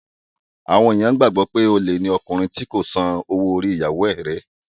Àwọn ènìyàn gbàgbọ́ pé olè ni ọkùnrin tí kò bá san owó orí ìyàwóo rẹ̀.